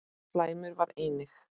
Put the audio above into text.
Slæmur var einnig